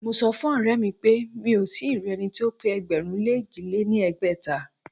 Mo sọ fún ọ̀rẹ́mi pé mí ò tíì rí ẹni tí ó pé ẹgbẹ̀rún lé èjì lé ní ẹgbẹ́ta.